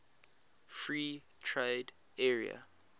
free trade area